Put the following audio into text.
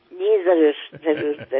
ఇది నా అదృష్టంగా భావిస్తాను